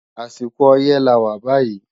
Àsìkò ọyẹ́ lawà bàyí